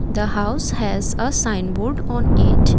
the house has a sign board on it.